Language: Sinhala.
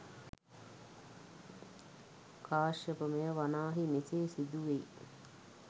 කාශ්‍යපය! මෙය වනාහි මෙසේ සිදුවෙයි.